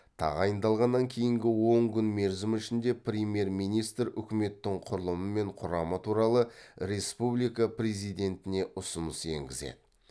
тағайындалғаннан кейінгі он күн мерзім ішінде премьер министр үкіметтің құрылымы мен құрамы туралы республика президентіне ұсыныс енгізеді